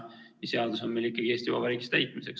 Seadus on meil Eesti Vabariigis ikkagi täitmiseks.